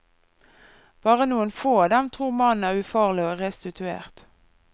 Bare noen få av dem tror mannen er ufarlig og restituert.